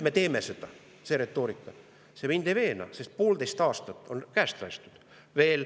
See retoorika mind ei veena, sest poolteist aastat on käest lastud.